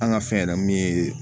An ka fɛn yɛrɛ mun ye